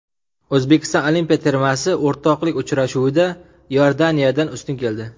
O‘zbekiston olimpiya termasi o‘rtoqlik uchrashuvida Iordaniyadan ustun keldi.